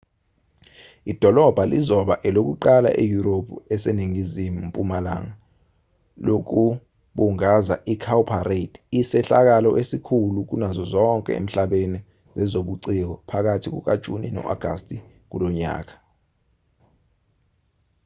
idolobha lizoba elokuqala eyurophu eseningizimu mpumalanga lokubungaza icowparade isehlakalo esikhulu kunazo zonke emhlabeni zezobuciko phakathi kukajuni no-agasti kulonyaka